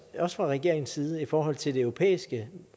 også fra regeringens side i forhold til det europæiske